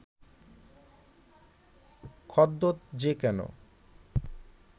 খদ্যোত যে কেন